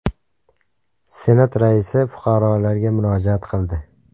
Senat raisi fuqarolarga murojaat qildi.